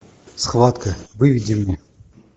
схватка выведи мне